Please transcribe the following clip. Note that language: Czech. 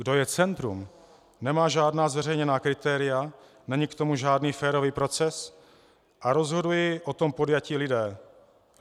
Kdo je centrum, nemá žádná zveřejněná kritéria, není k tomu žádný férový proces a rozhodují o tom podjatí lidé.